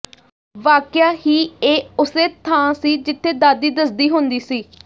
ਵਾਕਿਆ ਹੀ ਇਹ ਉਸੇ ਥਾਂ ਸੀ ਜਿਥੇ ਦਾਦੀ ਦੱਸਦੀ ਹੁੰਦੀ ਸੀ